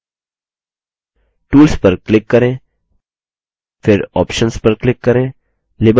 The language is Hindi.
tools पर click करें फिर options पर click करें